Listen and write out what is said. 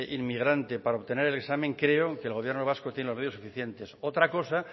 inmigrante para obtener el examen creo que el gobierno vasco tiene los medios suficientes otra cosa